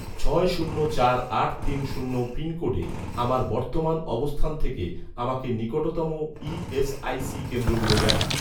ছয় শূন্য চার আট তিন শূন্য পিনকোডে, আমার বর্তমান অবস্থান থেকে, আমাকে নিকটতম ই.এস.আই.সি কেন্দ্রগুলো দেখান